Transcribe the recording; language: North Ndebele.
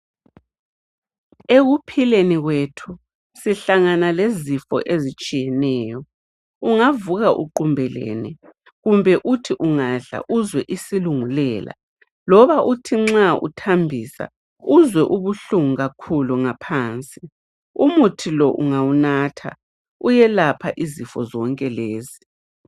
ekuphileni kwethu sihlangana lezifo ezitshiyeneyo ungavuka uqumbelene kumbe uthi ungadla uzwe isilungulela loba uthi nxa uthambisa uzwe ubuhlungu kakhulu ngaphansi umuthi lo ungawunatha uyelapha izifo zonke lezi